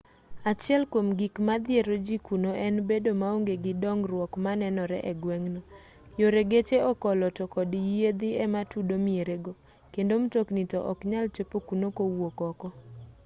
achiel kwom gik madhiero ji kuno en bedo maonge gi dongruok manenore e gweng'no yore geche okolo to kod yiedhi ema tudo miere go kendo mtokni to oknyal chopo kuno kowuok oko